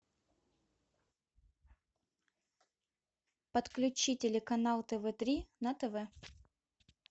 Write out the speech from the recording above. подключи телеканал тв три на тв